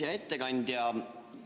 Hea ettekandja!